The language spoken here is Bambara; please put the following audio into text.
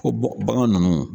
Ko bagan ninnu